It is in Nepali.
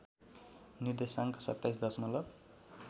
निर्देशाङ्क २७ दशमलब